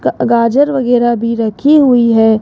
गाजर वगैरह भी रखी हुई है।